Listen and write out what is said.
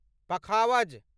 पखावज